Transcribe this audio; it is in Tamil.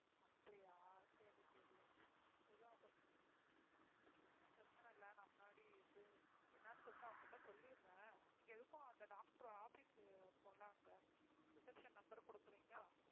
அப்படியா சரி, சரி, எதுவும் அப்போ பிரச்சனை இல்ல. நான் முன்னாடியே இது என்னன்னு சொல்லிட்டு அவங்கள்ட்ட சொல்லிடறேன். நீங்க எதுக்கும் அந்த doctor office உ இருக்கும் இல்ல அங்க reception number கொடுக்கிறீங்களா?